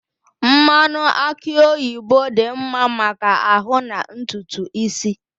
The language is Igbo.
Mmanụ aki oyibo dị mma maka ahụ na ntutu isi.